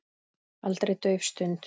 Aldrei dauf stund.